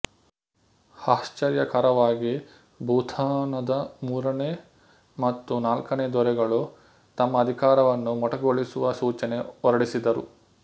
ಆಶ್ಚರ್ಯಕರವಾಗಿ ಭೂತಾನದ ಮೂರನೇ ಮತ್ತು ನಾಲ್ಕನೇ ದೊರೆಗಳು ತಮ್ಮ ಅಧಿಕಾರವನ್ನು ಮೊಟಕುಗೊಳಿಸುವ ಸೂಚನೆ ಹೊರಡಿಸಿದರು